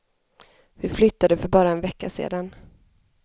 Vi flyttade för bara en vecka sedan.